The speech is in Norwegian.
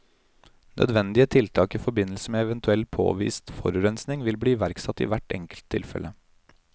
Nødvendige tiltak i forbindelse med eventuell påvist forurensning vil bli iverksatt i hvert enkelt tilfelle.